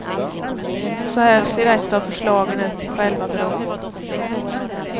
Så här ser ett av förslagen ut till själva bron.